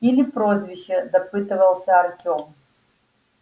или прозвище допытывался артём